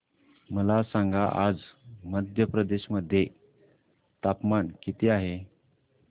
मला सांगा आज मध्य प्रदेश मध्ये तापमान किती आहे